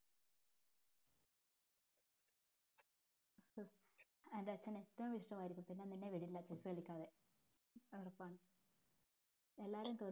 ഹോ എൻ്റെ അച്ഛന് ഏറ്റവും ഇഷ്ട്ടമായിരിക്കും പിന്നെ നിന്നെ വിടില്ല chess കളിക്കാതെ എല്ലാരും